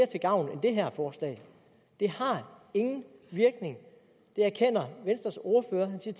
til gavn end det her forslag det har ingen virkning det erkender venstres ordfører han siger